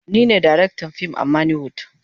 Ni ne darektan fim a manny wood.